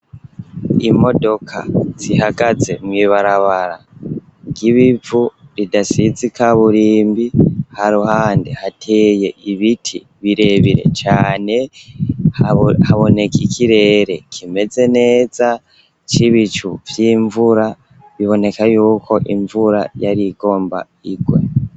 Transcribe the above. Imodoka zihagaze mw'ibarabara ry'ibivu ridasize ikaburimbi, haruhande hateye ibiti birebire cane, haboneka ikirere kimeze neza c'ibicu vy'imvura, biboneka yuko imvura yarigomba igwe.